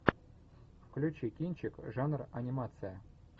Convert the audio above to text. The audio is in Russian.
включи кинчик жанр анимация